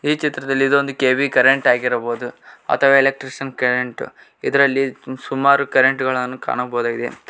ಈ ಚಿತ್ರದಲ್ಲಿ ಇದು ಒಂದು ಕೆ_ಬಿ ಕರೆಂಟ್ ಆಗಿರಬಹುದು ಅಥವಾ ಎಲೆಕ್ಟ್ರಿಷಿಯನ್ ಕರೆಂಟ್ ಇದರಲ್ಲಿ ಸುಮಾರು ಕರೆಂಟ್ಗ ಳನ್ನು ಕಾಣಬಹುದಾಗಿದೆ.